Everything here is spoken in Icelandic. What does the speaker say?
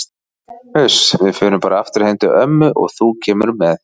Uss, við förum bara aftur heim til ömmu og þú kemur með.